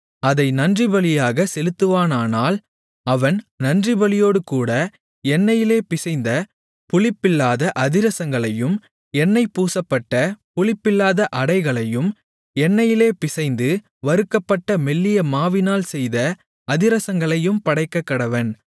அதை நன்றிபலியாகச் செலுத்துவானானால் அவன் நன்றிபலியோடுகூட எண்ணெயிலே பிசைந்த புளிப்பில்லாத அதிரசங்களையும் எண்ணெய் பூசப்பட்ட புளிப்பில்லாத அடைகளையும் எண்ணெயிலே பிசைந்து வறுக்கப்பட்ட மெல்லிய மாவினால் செய்த அதிரசங்களையும் படைக்கக்கடவன்